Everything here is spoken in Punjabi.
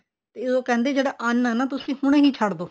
ਤੇ ਉਹ ਕਹਿੰਦੇ ਜੋ ਅੰਨ ਆ ਨਾ ਉਹ ਤੁਸੀਂ ਹੁਣ ਛੱਡ ਦੋ